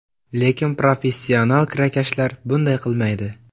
Lekin professional kirakashlar bunday qilmaydi.